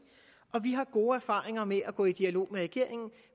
og vi har gode erfaringer med at gå i dialog med regeringen